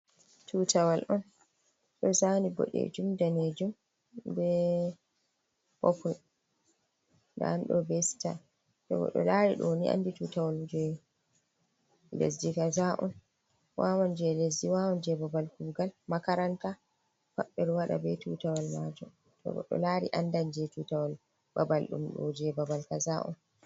Tutawal'on ɗo zani boɗejum danejum be Popul. Nda ɗum ɗo be Sitan. To godɗo lari ɗoni andi tutawal je lesdi kaza’on. Wawan je lesdi wawan je babal Kuugal, Makaranta pat ɓeɗon Waɗa be tutawal majun, to godɗo lari andan je Tutawal babal ɗum ɗo je babal kaza’on.